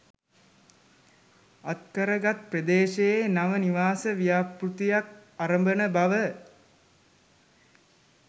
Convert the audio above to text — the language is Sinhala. අත් කරගත් ප්‍රදේශයේ නව නිවාස ව්‍යාපෘතියක් අරඹන බව